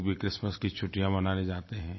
लोग भी क्रिसमस की छुट्टियाँ मनाने जाते हैं